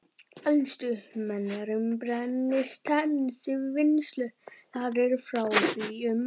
Elstu menjar um brennisteinsvinnslu þar eru frá því um